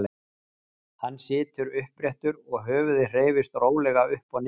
Hann situr uppréttur og höfuðið hreyfist rólega upp og niður.